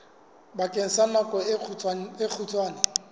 bakeng sa nako e kgutshwane